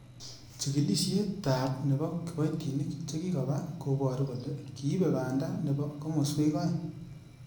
Chigilisietab nebo kiboitinik chekikoba koboru kole kiibe banda nebo komoswek oeng .